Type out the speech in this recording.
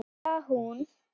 Já, hún!